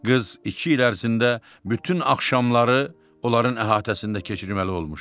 Qız iki il ərzində bütün axşamları onların əhatəsində keçirməli olmuşdu.